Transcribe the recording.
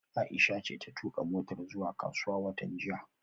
Aisha ce ta tuka motar zuwa kasuwa watan jiya